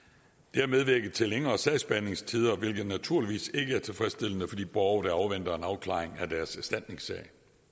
har medvirket til længere sagsbehandlingstider hvilket naturligvis ikke er tilfredsstillende for de borgere der afventer en afklaring af deres erstatningssager